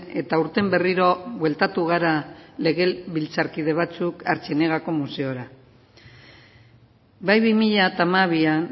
eta aurten berriro bueltatu gara legebiltzarkide batzuk artziniegako museora bai bi mila hamabian